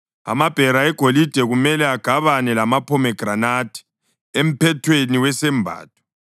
Amabhera egolide kumele agabane lamaphomegranathi emphethweni wesembatho.